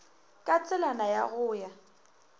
ka tselana ya go ya